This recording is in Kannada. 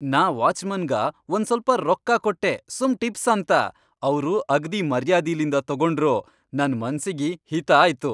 ನಾ ವಾಚ್ಮನ್ಗ ಒಂಸ್ವಲ್ಪ ರೊಕ್ಕಾ ಕೊಟ್ಟೆ ಸುಮ್ ಟಿಪ್ಸ್ ಅಂತ, ಅವ್ರು ಅಗ್ದಿ ಮರ್ಯಾದಿಲಿಂದ ತೊಗೊಂಡ್ರು.. ನನ್ ಮನ್ಸಿಗಿ ಹಿತ ಆಯ್ತು.